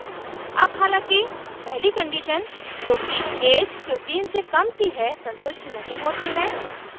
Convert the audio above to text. अब हालांकि पहली condition जो कि ऐज 15 से कम की है संतुष्ट नहीं होती है